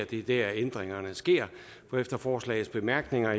det er dér ændringerne sker for efter forslagets bemærkninger